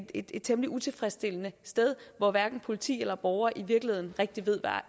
et temmelig utilfredsstillende sted hvor hverken politi eller borgere i virkeligheden rigtig ved